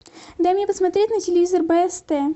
дай мне посмотреть на телевизор бст